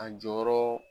A jɔyɔrɔ